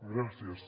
gràcies